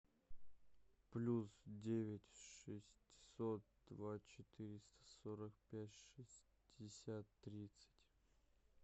плюс девять шестьсот два четыреста сорок пять шестьдесят тридцать